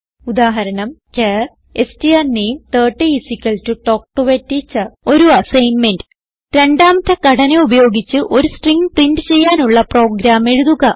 ഉദാഹരണം char strname30 തൽക്ക് ടോ A ടീച്ചർ ഒരു അസ്സൈൻമെന്റ് രണ്ടാമത്തെ ഘടന ഉപയോഗിച്ച് ഒരു സ്ട്രിംഗ് പ്രിന്റ് ചെയ്യാനുള്ള ഒരു പ്രോഗ്രാം എഴുതുക